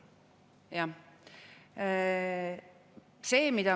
Jah.